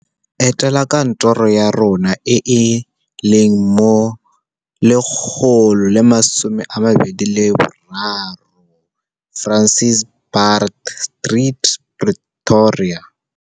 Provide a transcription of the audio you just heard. Etela kantoro ya rona e e leng mo 123 Francis Baard Street, Pretoria.